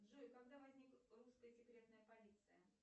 джой когда возникла русская секретная полиция